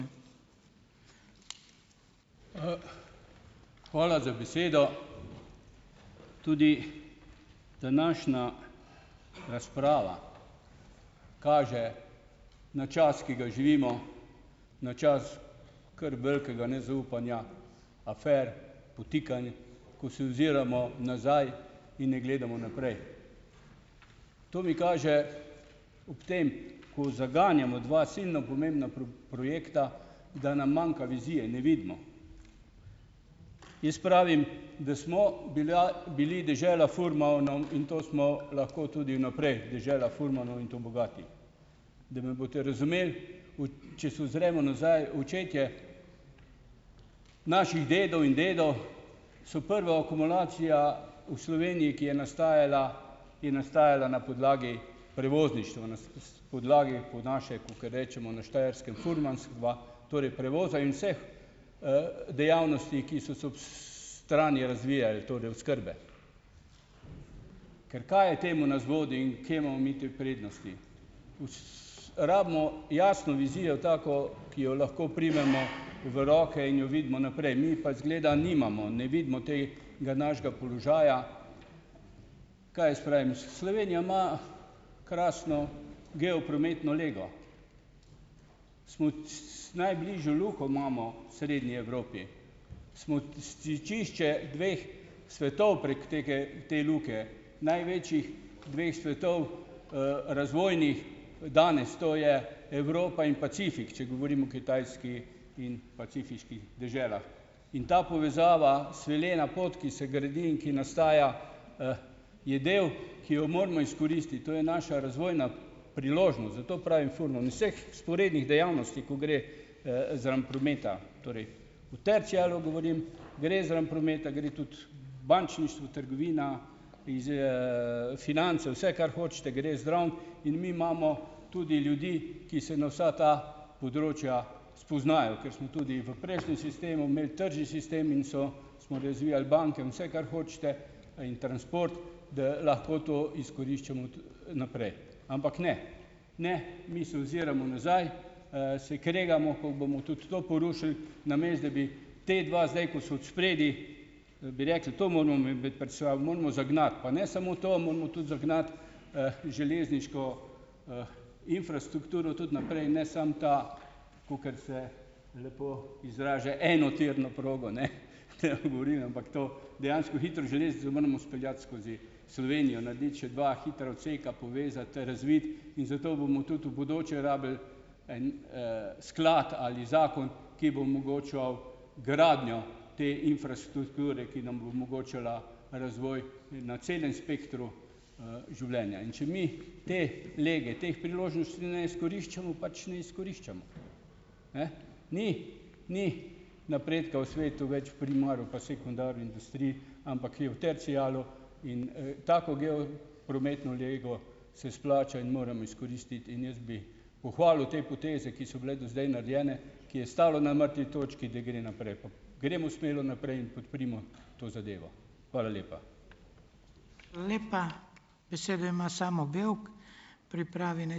Hvala za besedo. Tudi današnja razprava kaže na čas, ki ga živimo, na čas kar velikega nezaupanja, afer, podtikanj, ko se oziramo nazaj in ne gledamo naprej. To mi kaže ob tem, ko zaganjamo dva silno pomembno projekta, da nam manjka vizije, ne vidimo. Jaz pravim, da smo bila bili dežela furmanov, in to smo lahko tudi naprej. Dežela furmanov, in to bogati. Da me boste razumeli. Če se ozremo nazaj, očetje naših dedov in dedov so prva akumulacija v Sloveniji, ki je nastajala, ki je nastajala na podlagi prevozništva, podlagi po naše, kakor rečemo na Štajerskem, furmanstva, torej prevoza in vseh, dejavnosti, ki so se ob, strani razvijale, torej oskrbe. Ker kaj je temu, kje imamo mi te prednosti? Rabimo jasno vizijo, tako, ki jo lahko primemo v roke in jo vidimo naprej. Mi pa, izgleda, nimamo, ne vidimo tega našega položaja, kaj jaz pravim, Slovenija ima krasno geoprometno lego. Najbližjo luko imamo v srednji Evropi, smo stičišče dveh svetov prek tege te luke, največjih dveh svetov, razvojnih, danes, to je Evropa in Pacifik, če govorim o Kitajski in pacifiških deželah. In ta povezava, svilena pot, ki se gradi in ki nastajajo, je del, ki jo moramo izkoristiti, to je naša razvojna priložnost. Zato pravim furman vseh vzporednih dejavnosti, ko gre, zraven prometa. Torej, o terciarju govorim, gre zraven prometa, gre tudi bančništvo, trgovina, finance, vse, kar hočete, gre zraven, in mi imamo tudi ljudi, ki se na vsa ta področja spoznajo, ker smo tudi v prejšnjem sistemu imel tržni sistem in so smo razvijali banke, in vse, kar hočete, in transport, da lahko to izkoriščamo naprej. Ampak ne. Ne. Mi se ne oziroma nazaj, se kregamo, kako bomo tudi to porušili, namesto da bi ta dva zdaj, ko sta odspredaj, bi rekli, to moramo mi biti pred sabo, moramo zagnati. Pa ne samo to, moramo tudi zagnati, železniško infrastrukturo tudi naprej, ne samo ta, kakor se lepo izraža, enotirno progo, ne, tem govorim. Ampak to, dejansko hitro železnico moramo speljati skozi Slovenijo, narediti še dva hitra odseka, povezati, razviti, in zato bomo tudi v bodoče rabili en, sklad ali zakon, ki bo omogočal gradnjo te infrastrukture, ki nam bo omogočala razvoj na celem spektru, življenja in če mi te lege, teh priložnosti ne izkoriščamo, pač ne izkoriščamo. Ne. Ni, ni napredka v svetu več v "primaru", pa "sekundaru" industrij, ampak je v "terciarju" in, tako "geoprometno" lego se splača in moramo izkoristiti, in jaz bi pohvalil te poteze, ki so bile do zdaj narejene, ki je stalo na mrtvi točki, da gre naprej, pa gremo uspelo naprej in podprimo to zadevo. Hvala lepa.